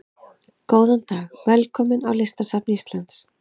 Góðan dag. Velkomin á Listasafn Íslands.